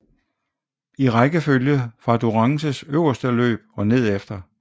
I rækkefølge fra Durances øverste løb og nedefter